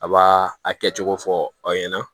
A b'a a kɛcogo fɔ aw ɲɛna